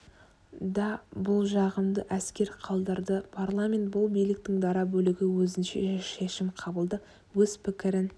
да бұл жағымды әсер қалдырды парламент бұл биліктің дара бөлігі өзінше шешім қабылдап өз пікірін